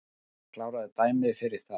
Hann kláraði dæmið fyrir þá